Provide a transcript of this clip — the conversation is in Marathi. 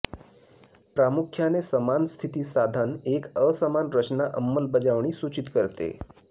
प्रामुख्याने समान स्थिती साधन एक असामान्य रचना अंमलबजावणी सूचित करते